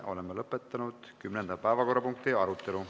Oleme lõpetanud kümnenda päevakorrapunkti arutelu.